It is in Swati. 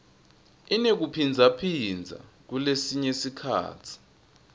inekuphindzaphindza kulesinye sikhatsi